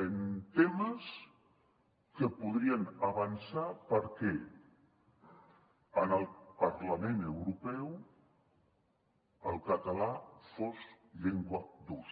en temes que podrien avançar perquè en el parlament europeu el català fos llengua d’ús